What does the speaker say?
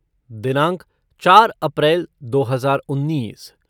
दिनांक चार अप्रैल दो हजार उन्नीस